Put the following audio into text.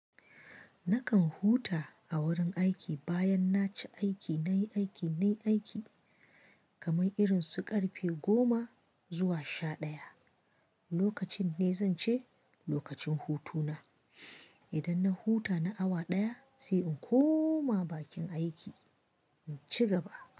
Nakan huta a wurin aiki bayan naci aiki, nayi aiki, nayi aiki, kamar irin su ƙarfe goma zuwa sha ɗaya. Lokacin ne zan ce lokacin hutu na. Idan na huta na awa ɗaya sai in koma bakin aiki, in ci gaba.